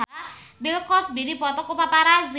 Bill Cosby dipoto ku paparazi